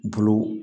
Bulu